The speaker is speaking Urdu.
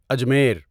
اجمیر